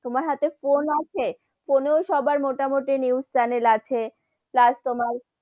তোমার হাথে ফোন আছে, ফোনেও সবার মোটা-মটি news channel আছে, plus তোমার,